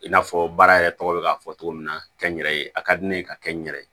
I n'a fɔ baara yɛrɛ tɔgɔ bɛ ka fɔ cogo min na kɛ n yɛrɛ ye a ka di ne ye ka kɛ n yɛrɛ ye